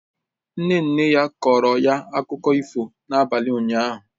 Nne nne ya kọọrọ ya akụkọ ifo n'abalị ụnyahụ